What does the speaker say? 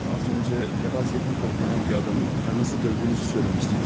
Az öncə Lebaz Yetnikov dənən bir adamın karısını dövdüyünüzü söyləmişdiniz.